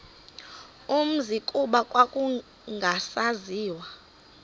umzi kuba kwakungasaziwa